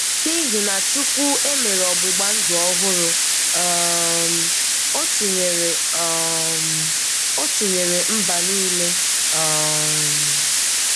N’ihi na Chúkwú emèrè ọ̀gbụ̀gbà ndú ọ̀húrù, um Ọ tìnyèrè um Ọ tìnyèrè mba niile. um